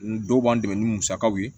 N dɔw b'an dɛmɛ ni musakaw ye